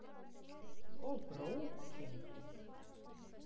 Og BRÓKIN!